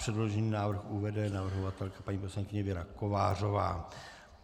Předložený návrh uvede navrhovatelka paní poslankyně Věra Kovářová.